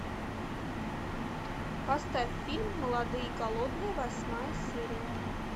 поставь фильм молодые и голодные восьмая серия